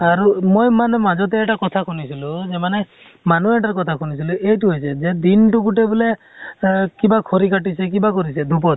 আৰু মই মানে মাজতে এটা কথা শুনিছিলো যে , মানে মানুহ এটাৰ কথা শুনিছিলো, এইটো হৈছে যে, দিনতো গোটেই বোলে আ কিবা খৰি কাটিছে কিবা কৰিছে foreignhindiforeign ত